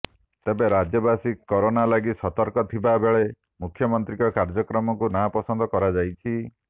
ତେବେ ରାଜ୍ୟବାସୀ କରୋନା ଲାଗି ସତର୍କ ଥିବା ବେଳେ ମୁଖ୍ୟମନ୍ତ୍ରୀଙ୍କ କାର୍ଯ୍ୟକ୍ରମକୁ ନାପସନ୍ଦ କରାଯାଇଛି